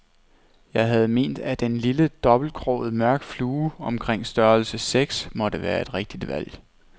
Jeg havde ment, at en lille dobbeltkroget mørk flue omkring størrelse seks måtte være et rigtigt valg.